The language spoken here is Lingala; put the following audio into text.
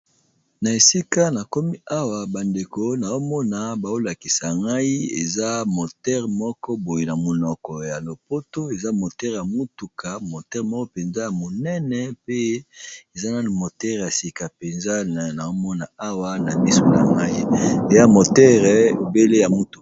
Na esika na komi awa bandeko na omona baolakisa ngai eza moteure moko boye, na monoko ya lopoto eza motere ya mutuka motere moko mpenza ya monene, pe eza naa motere ya sika mpenza na omona awa na miso na ngai ya motere ebele ya motuka.